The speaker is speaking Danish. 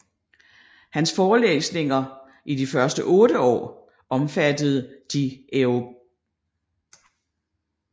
Hans Forelæsninger i de første 8 år omfattede de europ